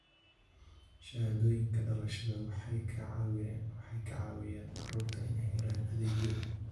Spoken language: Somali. Shahaadooyinka dhalashada waxay ka caawiyaan carruurta inay helaan adeegyo.